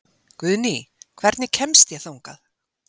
Guðný, hvernig kemst ég þangað?